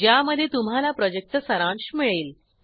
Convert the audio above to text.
ज्यामध्ये तुम्हाला प्रॉजेक्टचा सारांश मिळेल